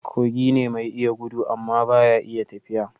Kogi ne mai iya gudu amma ba ya iya tafiya